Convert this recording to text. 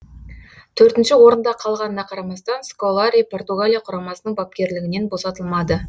төртінші орында қалғанына қарамастан сколари португалия құрамасының бапкерлігінен босатылмады